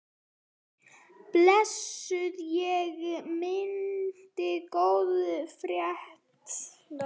Blessuð sé minning góðs félaga.